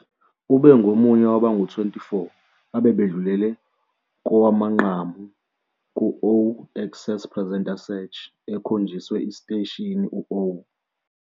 Ube ngomunye wabangu-24 abebedlulele kowamanqamu ku-'O Access Presenter Search 'ekhonjiswe esiteshini u-O.